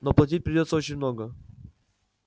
но платить придётся очень много